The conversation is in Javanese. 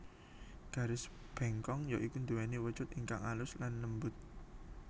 Garis bengkong ya iku nduweni wujud ingkang alus lan lembut